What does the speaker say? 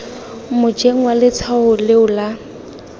mojeng wa letshwao leo la